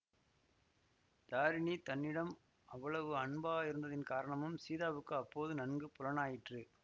தாரிணி தன்னிடம் அவ்வளவு அன்பாயிருந்ததின் காரணமும் சீதாவுக்கு அப்போது நன்கு புலனாயிற்று